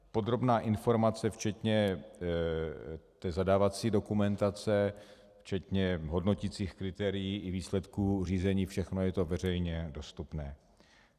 Podrobná informace včetně té zadávací dokumentace, včetně hodnoticích kritérií i výsledků řízení, všechno je to veřejně dostupné.